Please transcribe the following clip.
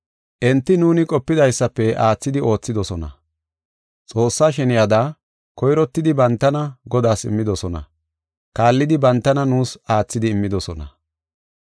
Enti nuuni qopidaysafe aathidi oothidosona. Xoossa sheniyada, koyrottidi bantana Godaas immidosona; kaallidi, bantana nuus aathidi immidosona.